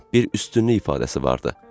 Bir üstünlük ifadəsi vardı.